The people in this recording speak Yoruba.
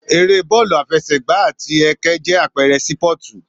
Ère Bọ́ọ̀lù àfẹsẹ̀gba àti ẹkẹ jẹ́ àpẹrẹ sípọ̀tù